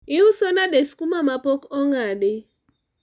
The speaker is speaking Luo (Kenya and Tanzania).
uiso nade skuma ma pok ong'adi?